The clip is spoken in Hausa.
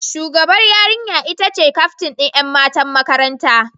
Shugabar yarinya ita ce kyaftin ’yan matan makaranta.